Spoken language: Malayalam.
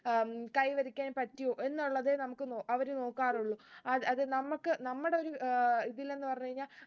ഉം കൈവരിക്കാൻ പറ്റിയൊ എന്നുള്ളതേ നമുക്ക് നോ അവര് നോക്കാറുള്ളു അത് അതെ നമ്മക്ക് നമ്മുടെ ഒരു ഏർ ഇതിലെന്ന് പറഞ്ഞ് കഴിഞ്ഞ